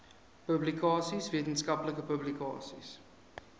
publikasies wetenskaplike publikasies